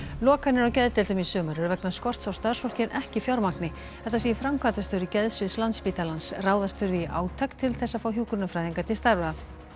lokanir á geðdeildum í sumar eru vegna skorts á starfsfólki en ekki fjármagni þetta segir framkvæmdastjóri geðsviðs Landspítalans ráðast þurfi í átak til þess að fá hjúkrunarfræðinga til starfa